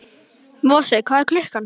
Mosi, hvað er klukkan?